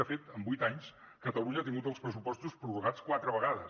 de fet en vuit anys catalunya ha tingut els pressupostos prorrogats quatre vegades